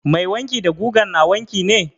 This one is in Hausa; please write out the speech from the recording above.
Mai wanki da gugan na wanki ne?